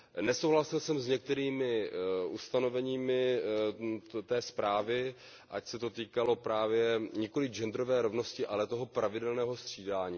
Nesouhlasil jsem s některými ustanoveními té zprávy, ať se to týkalo právě nikoliv genderové rovnosti, ale toho pravidelného střídání.